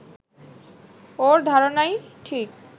ওর ধারণাই ঠিক